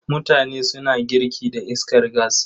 Mutane suna girki da iskar gas.